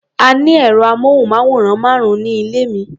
A ní ẹ̀rọ-amóhùnmáwòrán márùn-ún ní ilé mi.